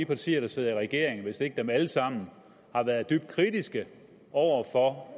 partier der sidder i regeringen hvis ikke dem alle sammen har været dybt kritiske over for